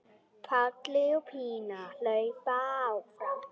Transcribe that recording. Palli og Pína hlaupa fram.